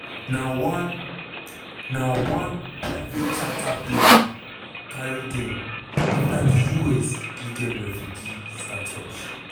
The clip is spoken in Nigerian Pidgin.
na one na one private charter plane carry dem afta di us give dem refugee status.